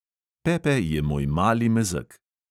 Pepe je moj mali mezeg.